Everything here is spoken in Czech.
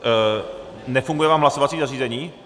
Nefunguje vám hlasovací zařízení?